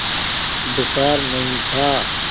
बुखार नहीं था